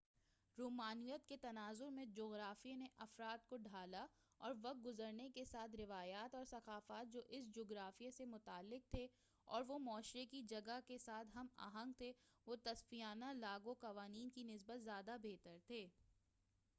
رومانویت کے تناظر میں جُغرافیے نے افراد کو ڈھالا اور وقت گُزرنے کے ساتھ روایات اور ثقافت جو اُس جُغرافیے سے متعلق تھے اور وہ معاشرے کی جگہ کے ساتھ ہم آہنگ تھے وہ تصفیانہ لاگُو قوانین کی نسبت زیادہ بہتر تھے